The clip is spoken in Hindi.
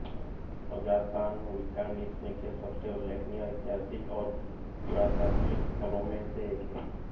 अज़ातान विस्कॉन्सिन के सबसे उल्लेखनीय ऐतिहासिक और पुरातात्विक स्थलों में से एक है